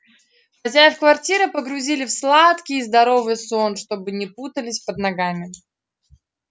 хозяев квартиры погрузили в сладкий и здоровый сон чтобы не путались под ногами